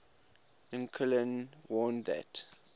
lincoln warned that